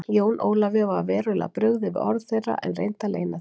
Jóni Ólafi var verulega brugðið við orð þeirra en reyndi að leyna því.